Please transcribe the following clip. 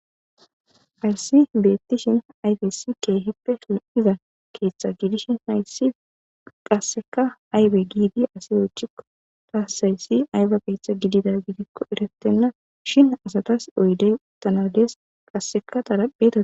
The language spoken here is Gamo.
Arsi beettishin ayfesi keehippe hi'za keeththa gidishin haysi qasseka aybe giidi asi ochikko taassayssi ayba keeththa gidida gidikko erattenna shin asatas oyde tanadees qasseka darapea